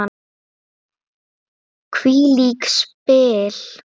Hvílík spil!